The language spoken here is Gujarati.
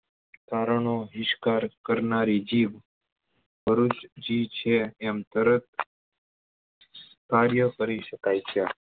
તારનો બહિષ્કાર કરનારી જીભ ભરૂચી છે એમ તરત કાર્ય કરી સકાય છે